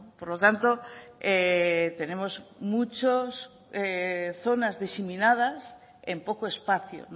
por lo tanto tenemos muchas zonas diseminadas en poco espacio